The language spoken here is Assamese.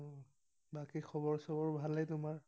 বাকী খবৰ ছবৰ ভালে তোমাৰ?